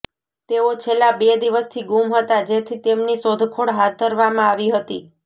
તેઓ છેલ્લા બે દિવસથી ગુમ હતા જેથી તેમની શોધખોળ હાથ ધરવામાં આવી હતી